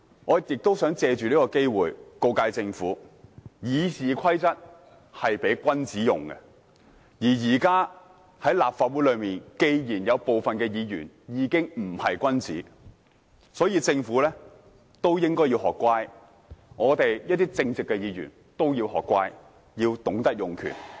我也想借此機會告誡政府，《議事規則》是供君子使用的，既然現時有部分立法會議員已經不是君子，政府應該學乖，我們這些正直的議員也要學乖，要懂得用權。